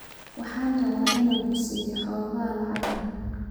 Waxaan rabaa inaan ku siiyo xoogaa lacag ah.